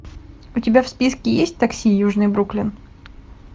у тебя в списке есть такси южный бруклин